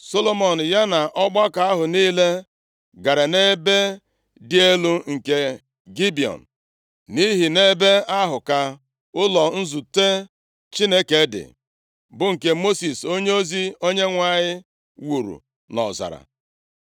Solomọn ya na ọgbakọ ahụ niile, gara nʼebe dị elu nke Gibiọn, nʼihi nʼebe ahụ ka ụlọ nzute Chineke dị, bụ nke Mosis onyeozi Onyenwe anyị wuru nʼọzara.